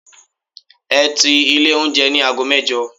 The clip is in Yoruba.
Ẹ ti ilé oúnjẹ ní aago mẹ́jọ!